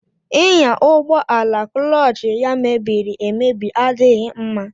Ịnya ụgbọ ala kụlọọch ya mebiriemebi adịghị mma.